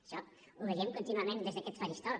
això ho veiem contínuament des d’aquest faristol